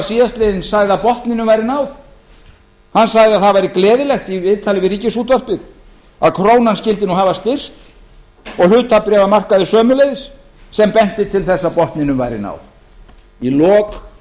síðastliðinn að botninum væri náð hann sagði í viðtali við ríkisútvarpið að það væri gleðilegt að krónan skyldi hafa styrkst og hlutabréfamarkaður sömuleiðis sem benti til þess að botnum væri náð í lok